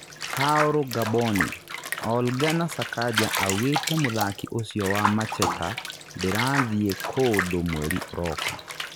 Baũrũ Ngamboni: Ol Ngana Sakanja augĩte mũthaki ũcio wa Macheta ndĩrathiĩ kũndũ mweri ũroka.